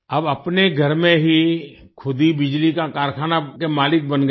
अब अपने घर में ही खुद ही बिजली का कारखाना के मालिक बन गए